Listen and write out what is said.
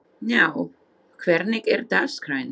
Gná, hvernig er dagskráin?